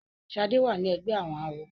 Shade wá ní ègbé àwọn àwo.